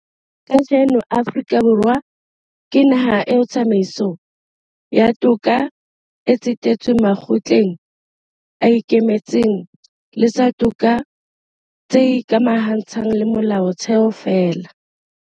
Kajeno Afrika Borwa ke naha eo tsamaiso ya toka e tsetetsweng makgotleng a ikemetseng le tsa toka tse ikamahantshang le Molaotheo feela.